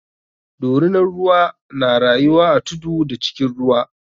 Dorinan ruwa na rayuwa a tudu da cikin ruwa.